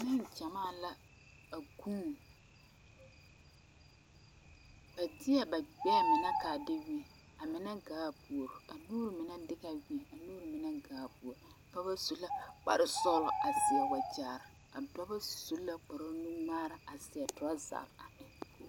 Nengyɛmaa la a vuune ba teɛ ba gbɛɛ mine ka a de weɛ a mine gaa puori a noba mine de la weɛ a noba mine gaa puori pɔgeba su la kparesɔglɔ a seɛ wagyɛre a dɔba su la kparenuŋmaara a seɛ trouser a eŋ.